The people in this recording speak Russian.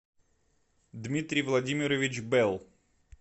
дмитрий владимирович белл